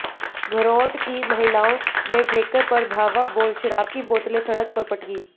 घर्रोट की महिलाओं ने ठेके पर धावा बोल शराब की बोतलें सड़क पर पटकीं